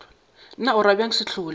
na o ra bjang sehlola